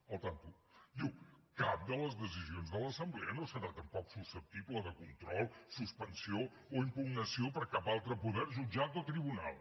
compte diu cap de les decisions de l’assemblea no serà tampoc susceptible de control suspensió o impugnació per cap altre poder jutjat o tribunal